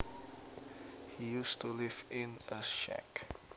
He used to live in a shack